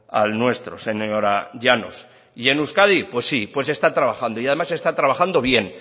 al nuestro señora llanos y en euskadi pues sí pues se está trabajando y además se está trabajando bien